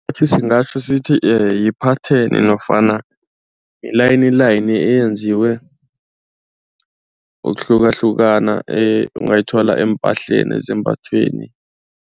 Isikotjhi singatjho sithi yiphatheni nofana yilayini layini eyenziwe ukwahlukahlukana ungayithola eempahleni ezambathweni.